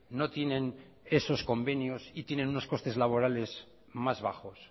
no tienen esos convenios y tienen unos costes laborales más bajos